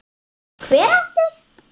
Hver átti?